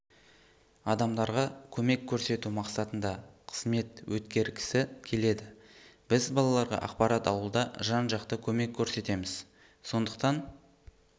адамдарға көмек көрсету мақсатында қызмет өткергісі келеді біз балаларға ақпарат алуда жан-жақты көмек көрсетеміз сондықтан